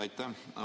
Aitäh!